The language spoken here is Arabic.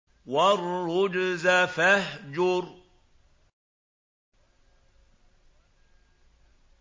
وَالرُّجْزَ فَاهْجُرْ